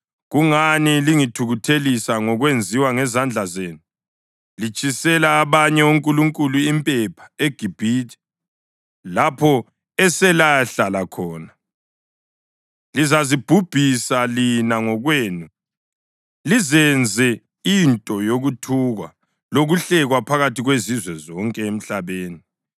Kungani lingithukuthelisa ngokwenziwa yizandla zenu, litshisela abanye onkulunkulu impepha eGibhithe, lapho eselayahlala khona? Lizazibhubhisa lina ngokwenu lizenze into yokuthukwa lokuhlekwa phakathi kwezizwe zonke emhlabeni.